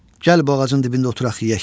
Gəl bu ağacın dibində oturaq yeyək.